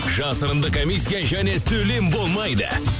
жасырынды комиссия және төлем болмайды